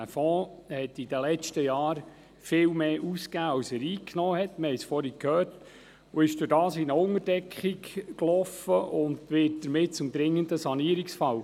Der Fonds hat in den letzten Jahren viel mehr ausgegeben als er eingenommen hat – wir haben es vorhin gehört –, ist dadurch in eine Unterdeckung gekommen und wird damit zum dringenden Sanierungsfall.